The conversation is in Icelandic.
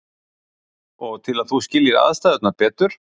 Og til að þú skiljir aðstæðurnar betur.